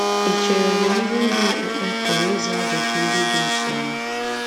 Ì chere na ndị ndú okpukpe pụrụ ịza ajụjụ ndị dị otú ahụ?